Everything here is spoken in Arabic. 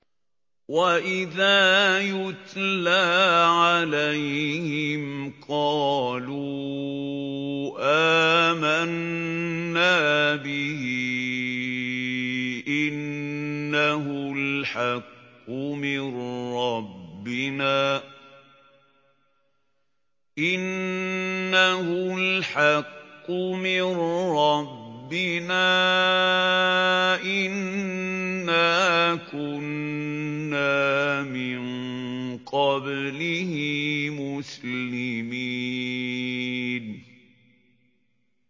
وَإِذَا يُتْلَىٰ عَلَيْهِمْ قَالُوا آمَنَّا بِهِ إِنَّهُ الْحَقُّ مِن رَّبِّنَا إِنَّا كُنَّا مِن قَبْلِهِ مُسْلِمِينَ